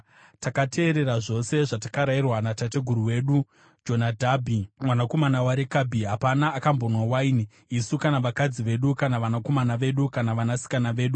Takateerera zvose zvatakarayirwa natateguru wedu Jonadhabhi mwanakomana waRekabhi. Hapana akambonwa waini, isu kana vakadzi vedu, kana vanakomana vedu, kana vanasikana vedu,